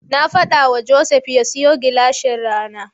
Na faɗawa Joseph ya siyo gilashin rana.